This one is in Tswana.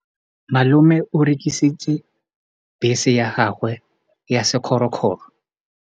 Malome o rekisitse bese ya gagwe ya sekgorokgoro.